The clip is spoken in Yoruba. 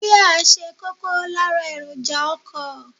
Jia ṣe kókó lára èròjà ọkọ.